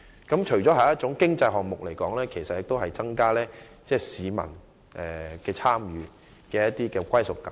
這除了是經濟項目之外，亦能鼓勵市民更多參與，提升其歸屬感。